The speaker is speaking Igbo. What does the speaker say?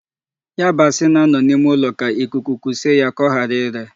Yabasi na-anọ n'ime ụlọ ka ikuku kuse ya ka ọghara ire.